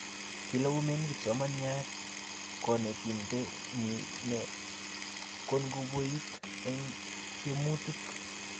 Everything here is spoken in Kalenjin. kilaumen kipsomanian konetinte nyiny ye kankoibut en tiemutich